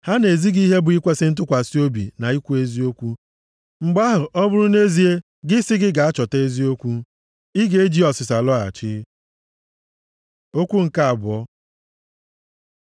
Ha na-ezi gị ihe bụ ikwesi ntụkwasị obi na ikwu eziokwu. Mgbe ahụ ọ bụrụ na-ezie gị sị gị gaa chọta eziokwu ị ga-eji ezi ọsịsa lọghachi. Okwu nke abụọ